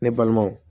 Ne balimanw